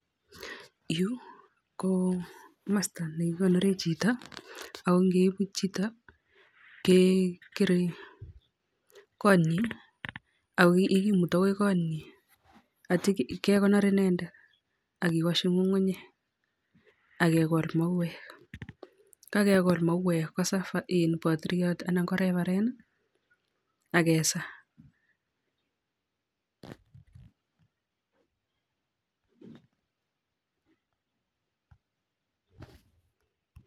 Yuu ko kimasta ne kikonore chito ako ngeipu chito kekerei konyin ako ye kimutu akoi konyin atyo kekonor inendet ak kewashi ngungunyek ak kekol mauwek, kokakekol mauwek kosaa padriot anan ko refarend ak kesaa.